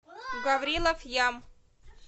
гаврилов ям